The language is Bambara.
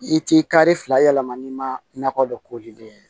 I t'i kari fila yɛlɛma n'i ma nakɔ dɔn ko den ye